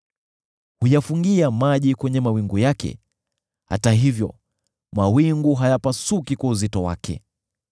Huyafungia maji kwenye mawingu yake, hata hivyo mawingu hayapasuki kwa uzito wake.